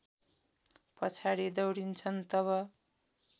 पछाडि दौडिन्छन् तब